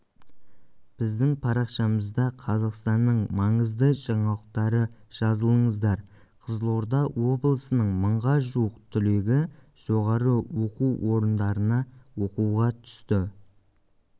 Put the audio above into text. біздің парақшамызда қазақстанның маңызды жаңалықтары жазылыңыздар қызылорда облысының мыңға жуық түлегі жоғары оқу орындарына оқуға түсті